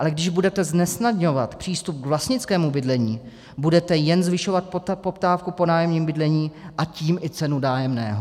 Ale když budete znesnadňovat přístup k vlastnickému bydlení, budete jen zvyšovat poptávku po nájemním bydlení, a tím i cenu nájemného.